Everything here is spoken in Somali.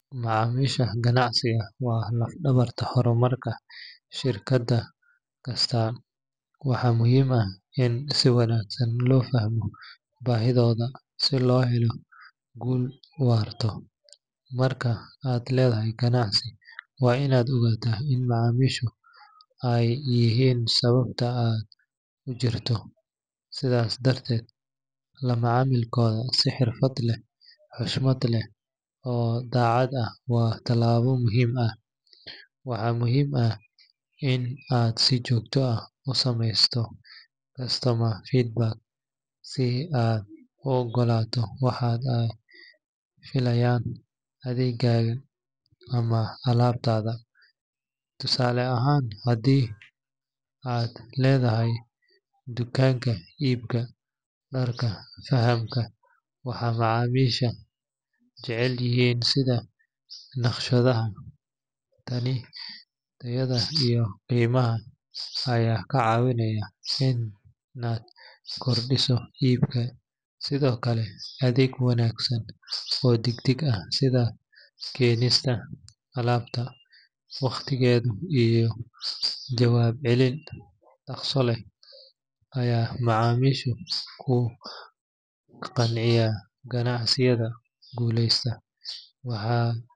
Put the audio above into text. Macamisha ganacsiga waa lafdawarta hormarka shirkada astan waxaa muhiim ah in si wanagsan lo fahmo bahidoda si lo helo gul warto, marki aa ledhahay ganacsi waa in aa ogata in macamishu ee yihin sawabta jirto sithas darteed lama camilkodha si xirfaad leh xushmaad leh oo dacaad ah waa talabo muhiim ah, waxaa muhiim ah in aa si jogto ah usamesto feedback is aad u ogato waxaa ee filayan adhegaga ama alabtadha tusale ahan hadii aa ledhahay tukanka ibka fahamka waxaa macamisha ee jecelyihin naqshaadaha, tani iyada iyo qimaha aya kacawineya in aa kordiso ibka, sithokale adheg wanagsan oo deg deg ah sitha kenista alabta waqtigeeda iyo jawab celin daqso leh aya macamishu ku qanciya ganacsataada gulesato waxaa.